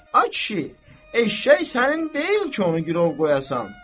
Ay kişi, eşşək sənin deyil ki, onu girov qoyasan.